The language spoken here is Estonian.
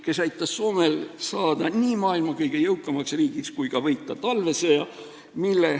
Kirik aitas Soomel saada nii maailma kõige jõukamaks riigiks kui ka võita talvesõja.